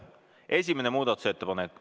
Esimene muudatusettepanek.